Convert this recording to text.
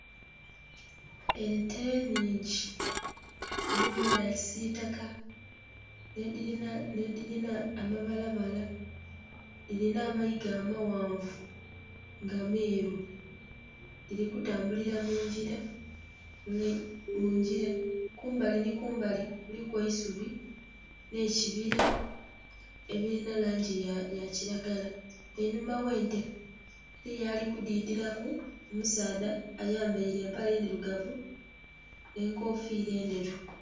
Ente nnhingi mulimu edha kisitaka nhe dhilina amabalabala dhilina amaiga amaghanvu nga meru, dhili kutambulila mungila. Mungila kumbali nhi kumbali kuliku eisubi nhe kibila ebilinha langi ya kilgala, einhuma ghe ente eriyo ali ku didhilaku omusaadha ayambeire empale ndhirugavu nhe enkofira endheru.